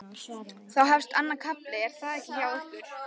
Þá þá hefst annar kafli er það ekki hjá ykkur?